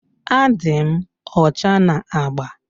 Adị m ọcha na agba.